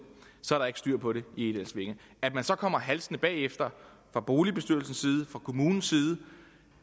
så er der ikke styr på det i egedalsvænge at man så kommer halsende bagefter fra boligbestyrelsens side og fra kommunens side